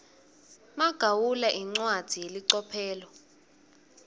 magawula incwadzi yelicophelo